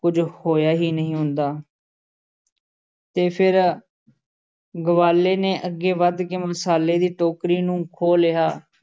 ਕੁਝ ਹੋਇਆ ਹੀ ਨਹੀਂ ਹੁੰਦਾ ਤੇ ਫਿਰ ਗਵਾਲੇ ਨੇ ਅੱਗੇ ਵਧ ਕੇ ਮਸਾਲੇ ਦੀ ਟੋਕਰੀ ਨੂੰ ਖੋਹ ਲਿਆ।